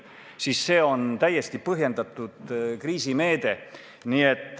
Seega, see on täiesti põhjendatud kriisimeede.